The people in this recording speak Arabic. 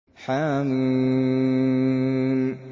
حم